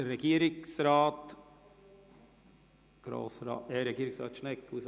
Das Wort hat Regierungsrat Schnegg.